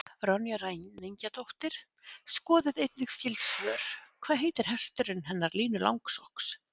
Ronja ræningjadóttir Skoðið einnig skyld svör: Hvað heitir hesturinn hennar Línu Langsokks?